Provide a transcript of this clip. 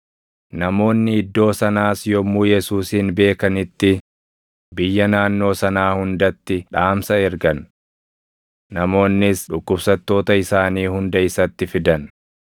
Namoonni iddoo sanaas yommuu Yesuusin beekanitti biyya naannoo sanaa hundatti dhaamsa ergan. Namoonnis dhukkubsattoota isaanii hunda isatti fidan;